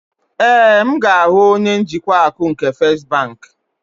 Ee, m ga-ahụ onye njikwa akụ nke First bank.